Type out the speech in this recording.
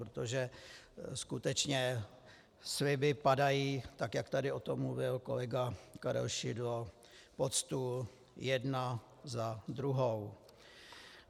Protože skutečně sliby padají, tak jak tady o tom mluvil kolega Karel Šidlo, pod stůl jeden za druhým.